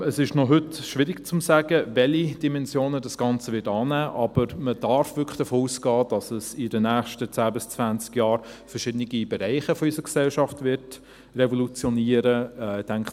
Es ist heute noch schwierig zu sagen, welche Dimensionen das Ganze annehmen wird, aber man darf wirklich davon ausgehen, dass es in den nächsten zehn bis zwanzig Jahren verschiedene Bereiche unserer Gesellschaft revolutionieren wird.